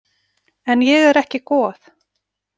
En ég er ekki goð.